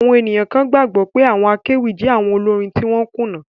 Àwọn ènìyàn kan gbàgbọ́ pé àwọn akéwì jẹ́ awon olórin tí wọ́n kùnà